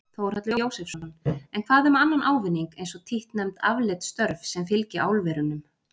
Þórhallur Jósefsson: En hvað um annan ávinning eins og títtnefnd afleidd störf sem fylgi álverunum?